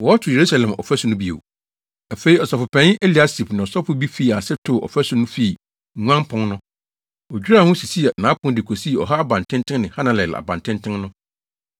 Afei, ɔsɔfopanyin Eliasib ne asɔfo bi fii ase too ɔfasu no fii Nguan Pon no. Wodwiraa ho, sisii nʼapon, de kosii Ɔha Abantenten ne Hananel Abantenten no.